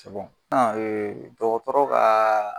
dɔgɔtɔrɔ kaa